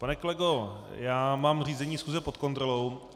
Pane kolego, já mám řízení schůze pod kontrolou.